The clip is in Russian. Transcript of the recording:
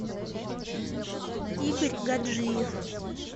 игорь гаджиев